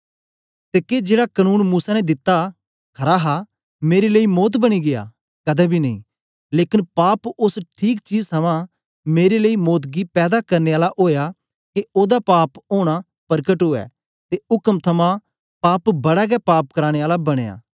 ते के जेड़ा कनून मूसा ने दित्ता खरा हा मेरे लेई मौत बनी गीया कदें बी नेई लेकन पाप ओस ठीक चीज थमां मेरे लेई मौत गी पैदा करने आला ओया के ओदा पाप ओना परकट ऊऐ ते उक्म थमां पाप बड़ा गै पाप कराने आला बनया